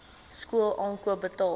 skool aankoop betaal